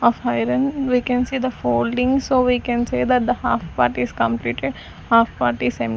of iron we can see the folding so we can say that the half part is completed half part is --